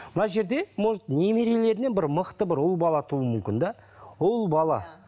мына жерде может немерелерінен бір мықты бір ұл бала туылуы мүмкін де ұл бала